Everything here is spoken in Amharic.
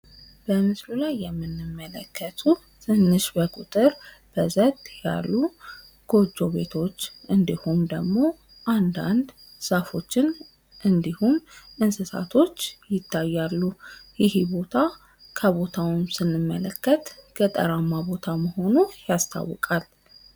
በምስሉ ላይ የምንመለከተው ትንሽ በቁጥር በዘት ያሉ ጎጆ ቤቶች እንዲሁም ደግሞ አንዳንድ ዛፎችን እንዲሁም እንስሳቶች ይታያሉ። ይህ ቦታ ከቦታውም ስንመለከት ገጠራማ ቦታ መሆኑን እንመለከታለን።